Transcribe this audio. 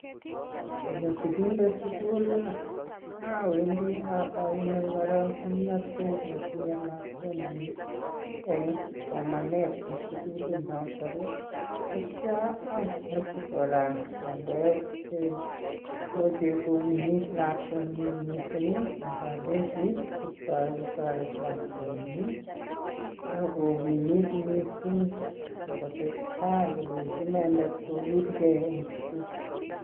Ngonyoo sigindet suguuul machining alenjiii tareet lakwangung ak ikimituu mising akotesetai ilenji lakwet kokil. gee Eng sugul